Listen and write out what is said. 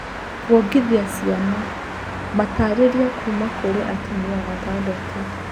Kwongithia ciana. Matarĩria kuuma kũrĩ atumia atandatũ.